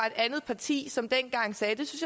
et andet parti som dengang sagde